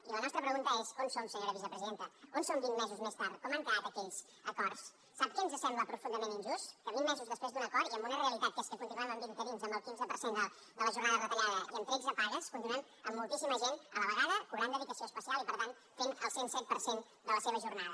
i la nostra pregunta és on som senyora vicepresidenta on som vint mesos més tard com han quedat aquells acords sap què ens sembla profundament injust que vint mesos després d’un acord i amb una realitat que és que continuem amb interins amb el quinze per cent de la jornada retallada i amb tretze pagues continuem amb moltíssima gent a la vegada cobrant dedicació especial i per tant fent el cent i set per cent de la seva jornada